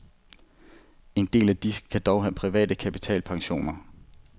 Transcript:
En del af disse kan dog have private kapitalpensioner.